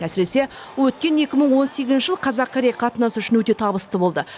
әсіресе өткен екі мың он сегізінші жыл қазақ корей қатынасы үшін өте табысты болды